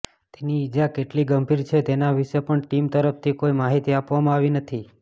તેની ઈજા કેટલી ગંભીર છે તેના વિશે પણ ટીમ તરફથી કોઈ માહિતી આપવામાં આવી નથી